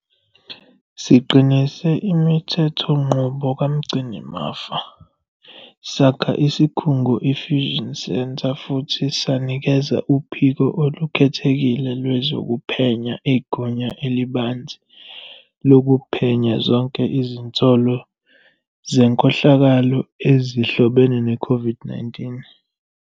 Siqinise imithethonqubo kaMgcinimafa, sakha isikhungo i-fusion centre futhi sanikeza uPhiko Olukhethekile Lwezokuphenya igunya elibanzi lokuphenya zonke izinsolo zenkohlakalo ezihlobene ne-COVID-19.